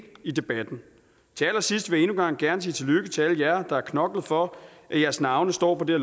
i debatten til allersidst vil jeg gang gerne sige tillykke til alle jer der har knoklet for at jeres navne står på det